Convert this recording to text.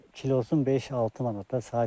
Kilosun 5-6 manatda sahibkarlar gəlir.